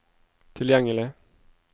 tilgjengelig